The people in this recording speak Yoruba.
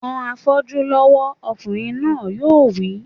Ran afọ́jú lọ́wọ́! Ọkùnrin náà yóò wí